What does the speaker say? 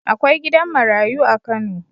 Akwai gidan marayu a Kano..